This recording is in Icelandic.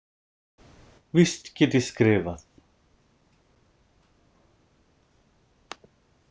Víst get ég skrifað.